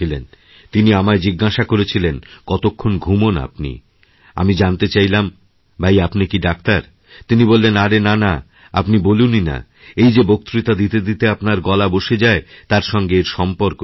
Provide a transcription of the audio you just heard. তিনি আমায় জিজ্ঞেস করেছিলেন কতক্ষণ ঘুমোন আপনি আমিজানতে চাইলাম ভাই আপনি কি ডাক্তার তিনি বললেন আরে নানা আপনি বলুনই না এই যেবক্তৃতা দিতে দিতে আপনার গলা বসে যায় তার সঙ্গে এর সম্পর্ক রয়েছে